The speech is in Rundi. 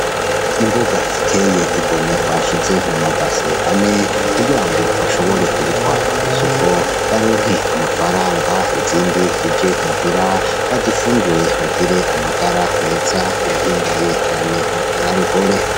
Imboga ziteye igomwe bashize mu mabase ane, kugira ngo bashore kuzitwara kw'isoko baronke amafaranga, izindi zije muhira bazifungure bagire amagara meza, birahimbaye cane, nakaroruhore.